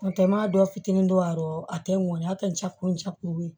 N'o tɛ n m'a dɔ fitinin don a rɔ a tɛ ŋɔni a tɛ ja kuncɛ kuru ye